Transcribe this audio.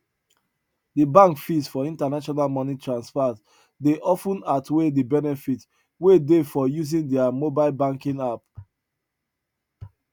de bank fees for international money transfers dey of ten outweigh de benefit wey dey for using their mobile banking app